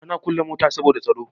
Ana kulle mota saboda tsaro.